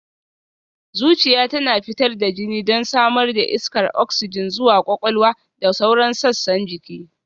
Zuciya tana fitar da jini don samar da iskar oksijin zuwa kwakwalwa da sauran sassan jiki